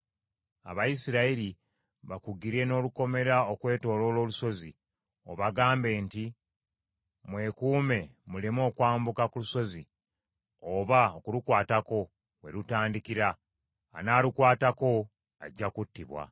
Abayisirayiri bakugire n’olukomera okwetooloola olusozi, obagambe nti, ‘Mwekuume muleme okwambuka ku lusozi oba okulukwatako we lutandikira. Anaalukwatako ajja kuttibwa.